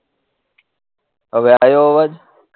હવે આયો આવાઝ